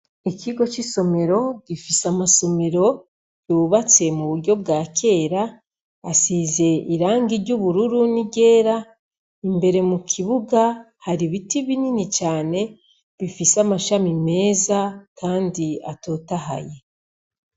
Ikigo c'isomero gifise amasomero yubatse m'uburyo bwakera, asize irangi ry'ubururu n'iryera. Imbere mukibuga har'ibiti binini cane bifise amashami meza kandi atotahaye.